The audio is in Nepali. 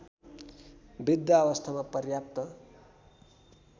वृद्धावस्थामा पर्याप्त